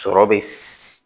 Sɔrɔ bɛ